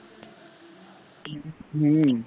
हम्म